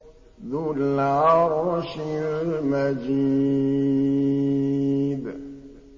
ذُو الْعَرْشِ الْمَجِيدُ